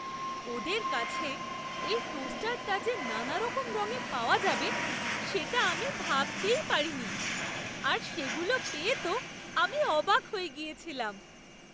ওদের কাছে এই টোস্টারটা যে নানারকম রঙে পাওয়া যাবে সেটা আমি ভাবতেই পারিনি, আর সেগুলো পেয়ে তো আমি অবাক হয়ে গিয়েছিলাম!